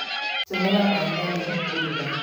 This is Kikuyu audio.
Tũmĩra maĩ manini kũruga